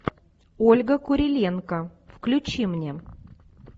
ольга куриленко включи мне